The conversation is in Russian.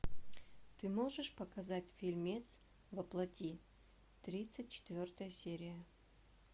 ты можешь показать фильмец во плоти тридцать четвертая серия